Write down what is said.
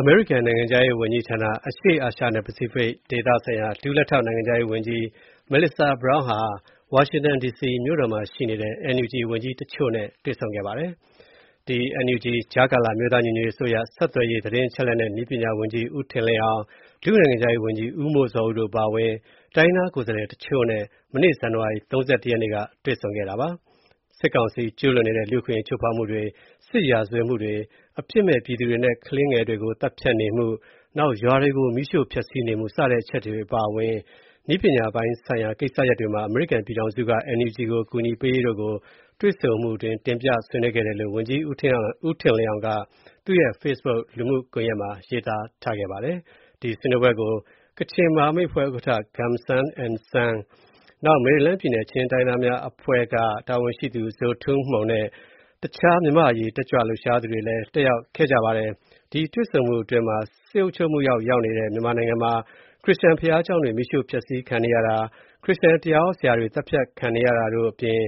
အမေရိကန်နိုင်ငံခြားရေးဌာန အရှေ့အာရှနဲ့ ပစိဖိတ်ဒေသဆိုင်ရာ ဒုလက်ထောက်နိုင်ငံခြားရေးဝန်ကြီး Melissa Brown ဟာ NUG ကြားကာလ အမျိုးသားညီညွတ်ရေးအစိုးရ ဆက်သွယ်ရေး၊ သတင်းအချက်အလက်နှင့် နည်းပညာဝန်ကြီး ဦးထင်လင်းအောင်၊ ဒုနိုင်ငံခြားရေးဝန်ကြီး ဦးမိုးဇော်ဦးတို့ အပါအဝင် တိုင်းရင်းသားကိုယ်စားလှယ်အချို့နဲ့ မနေ့ ဇန်နဝါရီ ၃၁ ရက်နေ့က တွေ့ဆုံခဲ့ပါတယ်။ စစ်ကောင်စီ ကျူးလွန်နေတဲ့ လူ့အခွင့်အရေးချိုးဖောက်မှုတွေ စစ်ရာဇဝတ်မှုတွေ အပြစ်မဲ့ ပြည်သူတွေနဲ့ ကလေးသူငယ်တွေကို သတ်ဖြတ်နေမှု၊ ရွာတွေကိုမီးရှို့ ဖျက်ဆီးနေမှု စတဲ့အချက်တွေအပါအဝင် နည်းပညာပိုင်းဆိုင်ရာ ကိစ္စရပ်တွေမှာ အမေရိကန်ပြည်ထောင်စုက NUG ကို ကူညီပေးရေးတို့ကို တွေ့ဆုံမှုအတွင်း တင်ပြဆွေးနွေးခဲ့တယ်လို့ ဝန်ကြီး ဦးထင်လင်းအောင်က သူ့ရဲ့ Facebook လူမှုကွန်ယက်မှာ ရေးသားထားပါတယ်။ ဒီဆွေးနွေးပွဲကို ကချင်မဟာမိတ်အဖွဲ့ ဥက္ကဋ္ဌ ဦးဂွန်ဆမ် (Gum San N Sang) ၊ မယ်ရီလန်းပြည်နယ် ချင်းတိုင်းရင်းသားများအဖွဲ့က တာဝန်ရှိသူ Zo Tum Hmung နဲ့ တခြား မြန်မာ့အရေးတက်ကြွလှုပ်ရှားသူတွေလည်း တက်ရောက်ခဲ့ကြပါတယ်။ ဒီ တွေ့ဆုံမှုအတွင်း စစ်အုပ်ချုပ်မှုအောက်ရောက်နေတဲ့ မြန်မာနိုင်ငံမှာ ခရစ္စယာန် ဘုရားကျောင်းတွေ မီးရှို့ ဖျက်ဆီးခံနေရတာ၊ ခရစ္စယာန် တရားဟောဆရာတွေ သတ်ဖြတ်ခံနေရတာတို့အပြင်